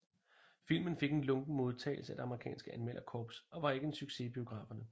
Filmen fik en lunken modtagelse af det amerikanske anmelderkorps og var ikke en succes i biograferne